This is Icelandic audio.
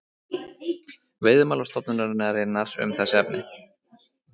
Veiðimálastofnunarinnar um þessi efni.